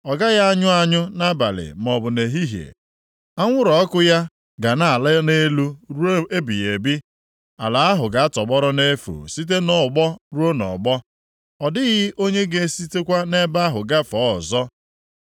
Ọ gaghị anyụ anyụ nʼabalị maọbụ nʼehihie; anwụrụ ọkụ ya ga na-ala nʼelu ruo ebighị ebi. Ala ahụ ga-atọgbọrọ nʼefu site nʼọgbọ ruo nʼọgbọ; ọ dịghị onye ga-esitekwa nʼebe ahụ gafee ọzọ.